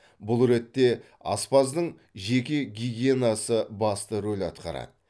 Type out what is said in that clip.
бұл ретте аспаздың жеке гигиенасы басты рөл атқарады